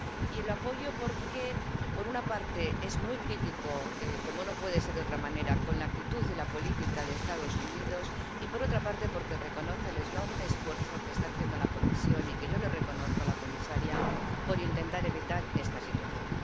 Y la apoyo porque, por una parte, es muy crítica, como no puede ser de otra manera, con la actitud de la política de los Estados Unidos y, por otra parte, porque reconoce el enorme esfuerzo que está haciendo la Comisión —y que yo le reconozco a la comisaria— por intentar evitar esta situación.